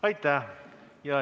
Aitäh!